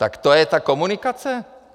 Tak to je ta komunikace?